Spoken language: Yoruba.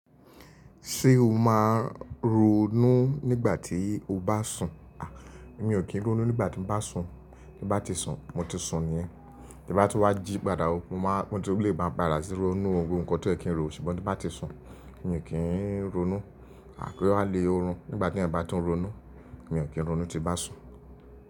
Ṣé o máa ronú nígbà tí o bá sùn? A! Mi ò kí ń ronú nígbà tí n bá sùn. N bá ti sùn, mo ti sùn ni yẹ́n. Bí bá ti wá jí padà, mo máa gbé e tó lè bá mi rà síronú ohun kan tó è kí ń ro, ṣùgbọ́n ní bá ti sùn, mi ò kí ń ronú. Gé ó wà lè orun, nígbàtí èèyàn bá tún ronú. Mi ò kí ń ronú tí bá sùn.